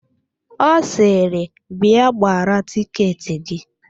Ọ sịrị, "bịa gbara tiketị gị"1